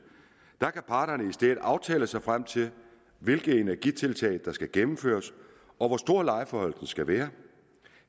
kan parterne i stedet aftale sig frem til hvilke energitiltag der skal gennemføres og hvor stor lejeforhøjelsen skal være